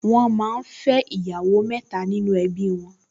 Wọ́n máa ń fẹ́ ìyàwó mẹ́ta nínú ẹbí wọn